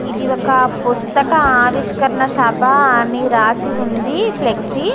ఇది ఒక పుస్తక ఆవిష్కరణ సబ అని రాసి ఉంది.ఫ్లెక్సీ --